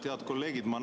Head kolleegid!